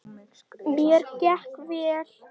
Mér gekk vel.